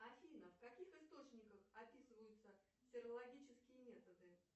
афина в каких источниках описываются сырологичские методы